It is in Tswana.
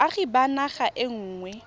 boagi ba naga e nngwe